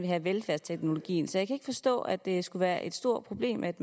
have velfærdsteknologien så jeg kan forstå at det skulle være et stort problem at